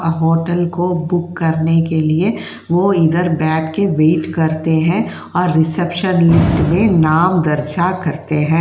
Hotel को book करने के लिए वो इधर बैठ के वेट करते हैं और रिसेप्शन लिस्ट में नाम दर्शा करते हैं।